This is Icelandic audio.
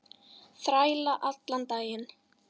Þræla allan daginn!